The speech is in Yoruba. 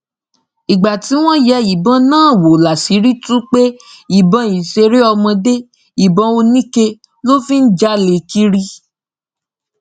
ìgbà tí wọn yẹ ìbọn náà wò láṣìírí tú pé ìbọn ìṣeré ọmọdé ìbọn oníke ló fi ń jálẹ kiri